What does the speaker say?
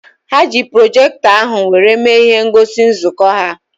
Ha ji projektọ ahụ were mee ihe ngosi nzukọ ha